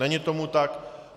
Není tomu tak.